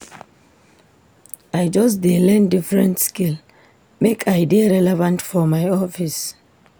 I just dey learn different skill make I dey relevant for my office.